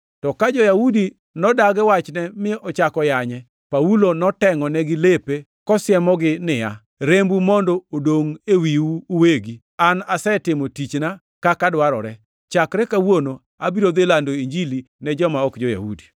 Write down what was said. To ka jo-Yahudi nodagi wachne mi ochako yanye, Paulo notengʼonigi lepe kosiemogi niya, “Rembu mondo odongʼ ewiu uwegi! An asetimo tichna kaka dwarore. Chakre kawuono abiro dhi lando Injili ne joma ok jo-Yahudi.”